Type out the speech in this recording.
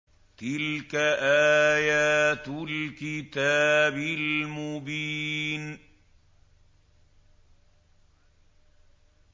تِلْكَ آيَاتُ الْكِتَابِ الْمُبِينِ